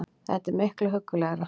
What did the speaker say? Þetta er miklu huggulegra